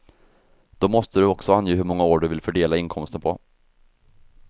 Då måste du också ange hur många år du vill fördela inkomsten på.